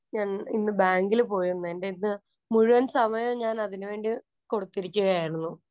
ഞാന്‍ ഇന്ന് ബാങ്കില്‍ പോയിരുന്നു.. എന്‍റെ ഇന്ന് മുഴുവന്‍ സമയവും ഞാന്‍ അതിനു വേണ്ടി കൊടുത്തിരിക്കുകയായിരുന്നു.